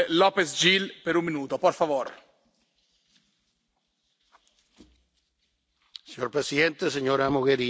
Señor presidente, señora Mogherini, como venezolano y como español, es con profundo sentimiento que les hablo.